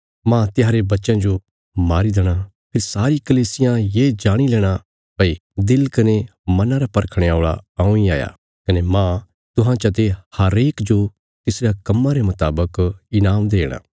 मांह तिसारे बच्चयां जो मारी देणा फेरी सारी कलीसियां ये जाणी लेणा भई दिल कने मना रा परखणे औल़ा हऊँ इ हाया कने मांह तुहां चते हरेक जो तिसरयां कम्मां रे मुतावक ईनाम देणा